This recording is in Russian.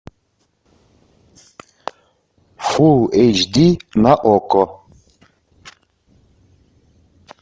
фул эйч ди на окко